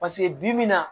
Paseke bibi in na